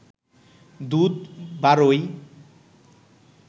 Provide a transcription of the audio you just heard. দুধ বারয়